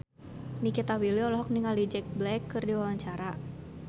Nikita Willy olohok ningali Jack Black keur diwawancara